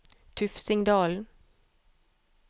Tufsingdalen